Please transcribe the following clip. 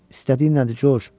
İstədiyin nədir, Corc?